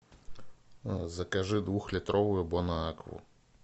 закажи двухлитровую бон акву